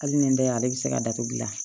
Hali ni n da ale bɛ se ka datugula